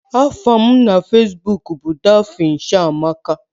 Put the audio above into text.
Aha m na Facebook bụ Daphne Chiamaka